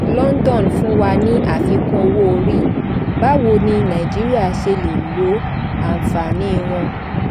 london fún wa ní àfikún owó orí; báwo ni nàìjíríà ṣe lè lo àǹfààní wọn?